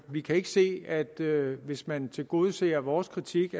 vi kan ikke se at det hvis man tilgodeser vores kritik